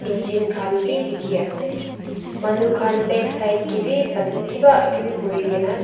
jin khan bhi dikhi ase manu khan back side ke bhi ban kiba kibi kuri ke na dik--